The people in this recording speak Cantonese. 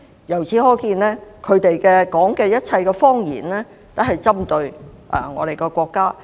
由此可見，他們所說的一切謊言均針對我們國家。